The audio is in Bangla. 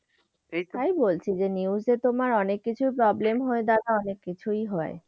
তাই বলছি যে news এ তোমার অনেক কিছুর problem হয়ে দাঁড়ায়, অনেক কিছুই হয়।